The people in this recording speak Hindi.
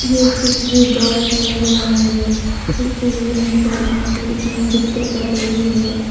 यह तस्वीर बाड़ का लग रहा है इस तस्वीर में चार पांच लड़कियां नृत्य कर रही है।